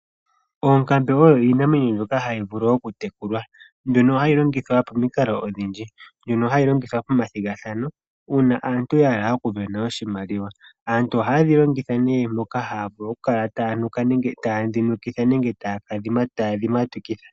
Oonkambe oyo iinamwenyo mbyoka hayi vulu okutekulwa mbyono hayi longithwa pamikalo odhindji. Mbyono hayi longithwa pomathigathano uuna aantu ya hala okusindana oshimaliwa. Aantu ohaye dhi longitha nee moka haya kala taye dhinukitha nenge taye dhimatukitha.